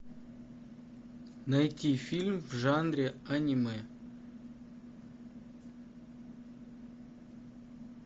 найти фильм в жанре аниме